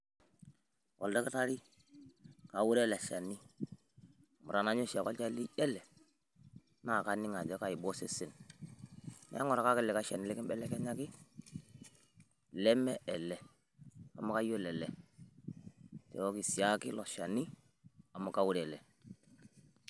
Oldaktari, kaure ele shani amu tenanya oshiake olchani lijo ele naa kaning' ajo kaiba osesen neeku ng'urakaki likai shani limbelekenyaki leme ele, amu kayiolo ele. Nchooki siake ilo shani amu kaure ele.